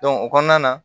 o kɔnɔna na